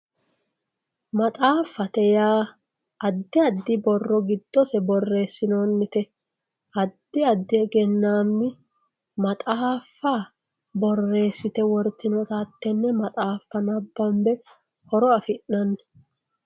maxaaffate yaa addi addi borro giddose borreessinoonnite addi addi egennaammi maxaafa borreessite wortinota hattenne maxaaffa nabanbe horo afi'nanni.